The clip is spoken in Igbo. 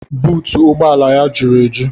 Buutu ụgbọ ala ya jụrụ eju